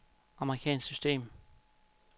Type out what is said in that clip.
amerikansk system